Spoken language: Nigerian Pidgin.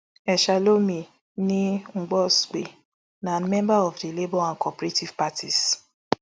eshalomi nee nosgbe na member of di labour and cooperative parties